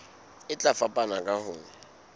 e tla fapana ka ho